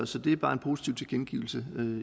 så det er bare en positiv tilkendegivelse